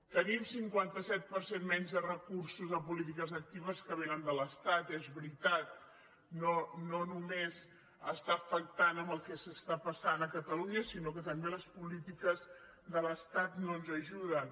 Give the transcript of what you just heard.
tenim cinquanta set per cent menys de recursos a polítiques actives que vénen de l’estat és veritat no només està afectant el que està passant a catalunya sinó que també les polítiques de l’estat no ens ajuden